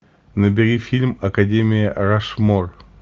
набери фильм академия рашмор